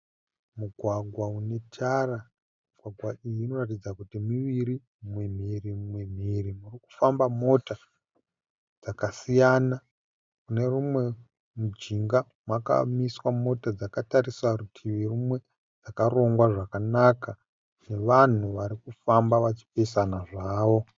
Mugwagwa une tara migwagwa iyi inoratidza kuti mirivi umwe mhiri umwe mhiri mukufamba mota dzakasiya . Kune rimwe munjinga makamiswa mota dzakatarisa rutivi rumwe dzakarongwa zvakanaka nevanhu vari kufamba vachipesana zvavo.